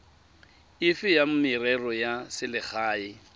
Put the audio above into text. efe ya merero ya selegae